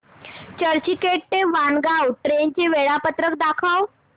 चर्चगेट ते वाणगांव ट्रेन चे वेळापत्रक दाखव